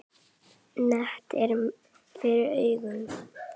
Net er fyrir augum.